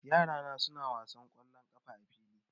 Yara na suna wasan kollo a fili